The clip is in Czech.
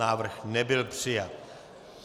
Návrh nebyl přijat.